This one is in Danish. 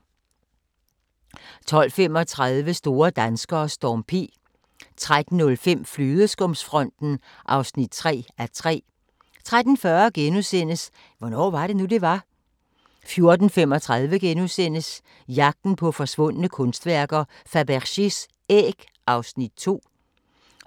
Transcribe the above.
12:35: Store danskere: Storm P 13:05: Flødeskumsfronten (3:3) 13:40: Hvornår var det nu, det var? * 14:35: Jagten på forsvundne kunstværker: Fabergés æg (Afs. 2)*